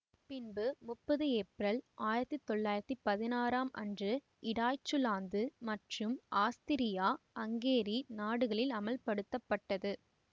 பின்பு முப்பது ஏப்ரல் ஆயிரத்தி தொள்ளாயிரத்தி பதினறாம் அன்று இடாய்ச்சுலாந்து மற்றும் ஆஸ்திரியா ஹங்கேரி நாடுகளில் அமல் படுத்தப்பட்டது